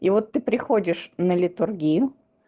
и вот ты приходишь на литургию